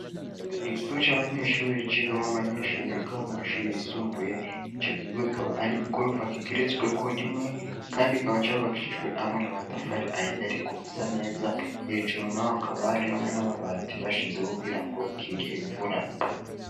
Igigo c'abanyeshuri cigamwo abanyeshuri bigaho mu mashuri yisumbuye ico gigo gikaba ari igorofa kigeretsweko rimwe, kandi kaba carobakicijwe hamwe na matafari ah iyariko asa neza hejuru na ho akabari hamwe n'amabati bashizeko kugira ngo ikingira imvura.